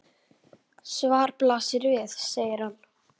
Svarið blasir við, segir hann.